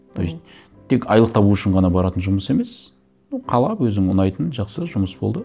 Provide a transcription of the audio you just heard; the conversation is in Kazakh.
то есть тек айлық табу үшін ғана баратын жұмыс емес ну қалап өзің ұнайтын жақсы жұмыс болды